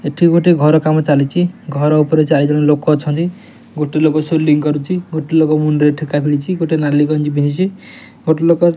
ଏଠି ଗୋଟେ ଘର କାମ ଚାଲିଛି ଘର ଉପରେ ଚାରିଜଣ ଲୋକ ଅଛନ୍ତି ଗୋଟେ ଲୋକ ସିଲିଂ କରୁଛି ଗୋଟେ ଲୋକ ମୁଣ୍ଡରେ ଠେକା ଦେଇଚି ଗୋଟେ ନାଲି ଗଂଜି ପିନ୍ଧିଚି ଗୋଟେ ଲୋକ --